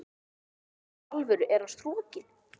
GVENDUR: Í alvöru: Er hann strokinn?